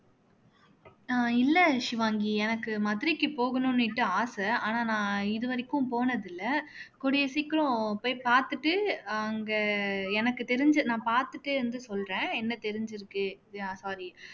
அஹ் இல்லை ஷிவாங்கி எனக்கு மதுரைக்கு போகணும்னுட்டு ஆசை ஆனா நான் இதுவரைக்கும் போனதில்லை கூடிய சீக்கிரம் போய் பாத்துட்டு அங்க எனக்கு தெரிஞ்சு நான் பாத்துட்டே வந்து சொல்றேன் என்ன தெரிஞ்சிருக்கு yeah sorry